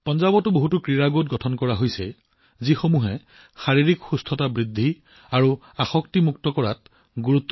পঞ্জাৱতো বহুতো ক্ৰীড়া গোট গঠন কৰা হৈছে যিয়ে ফিটনেছত গুৰুত্ব আৰোপ কৰি ড্ৰাগছ আসক্তিৰ পৰা মুক্তি পাবলৈ সজাগতা অভিযান চলাই আছে